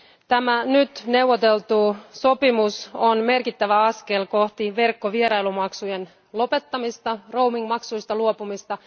Tämä nyt neuvoteltu sopimus on merkittävä askel kohti verkkovierailumaksujen lopettamista, roaming maksuista luopumista.